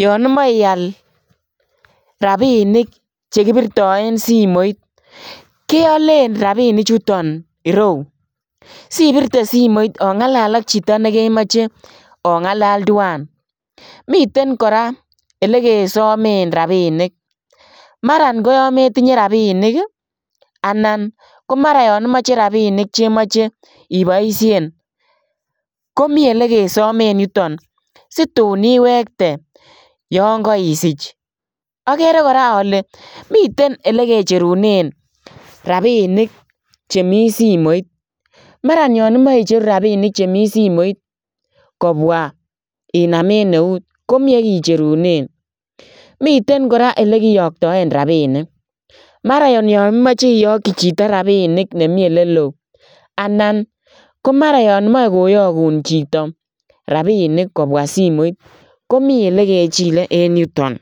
yaan imae iyaal rapinik che kibirtaen simoit keyaleen rapinik chutoon ireyuu sibirtee simoit ongalali ak chitoo nekemachei ongalali tuan miten kora ele ke sameen rapinik mara ko yaan metinyei rapinik anan ko mara yaan imache rapinik che machei ibaisheen ko Mii elekesameen yutoon situun iwektei Yoon kaisiich agere kora ale miten ele kicheruneen rapinik chemii simoit maraan yaan imache icheruu rapinik che Mii simoit kobwa Inaam en neut komii ole kicherundaa, miten kora ole kiyaktaen rapinik mara yaan imachei iyakyii chitoo rapinik nemiii ole loo anan ko maraa yaan Mae koyaguun chitoo rapinik kobwaa simoit komii ele kechile en yutoon.